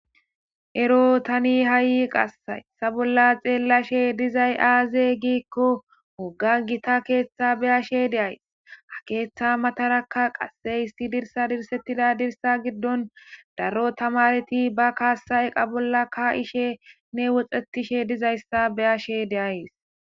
ero tani ha7i qassay sa bolla xeellashe dizay aaze giikko wogga gita keeththa beyashe de7ays ha keeththa matarakka qasse hissi dirsa dirsettida dirsa giddon daro tamareti ba kaasayeqa bolla ka ishene woxetishe dizayssa beyashe deays